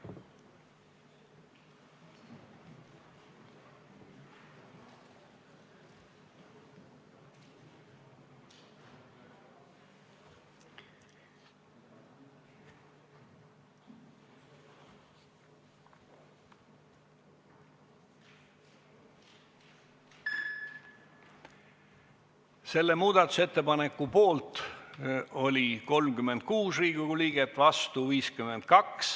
Hääletustulemused Selle muudatusettepaneku poolt oli 36 Riigikogu liiget, vastu 52.